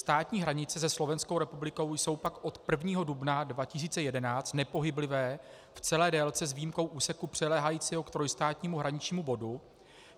Státní hranice se Slovenskou republikou jsou pak od 1. dubna 2011 nepohyblivé v celé délce s výjimkou úseku přiléhajícího k trojstátnímu hraničnímu bodu.